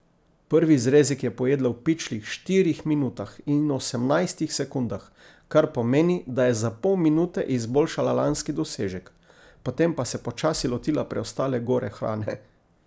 Prvi zrezek je pojedla v pičlih štirih minutah in osemnajstih sekundah, kar pomeni, da je za pol minute izboljšala lanski dosežek, potem pa se počasi lotila preostale gore hrane.